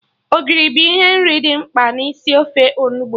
Ogiri bụ ihe nri dị mkpa n'isi ofe Onugbu